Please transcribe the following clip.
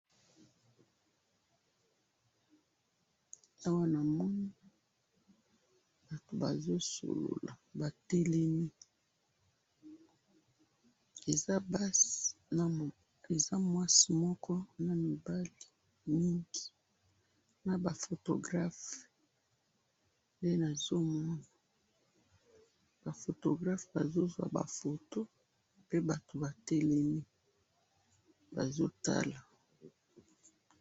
Awa na moni batelemi bazosolola, eza mwasi moko na mibali mingi na ba photographes. Ba photographes bazo zuwa ba photo pe batelemi nde nazo mona awa.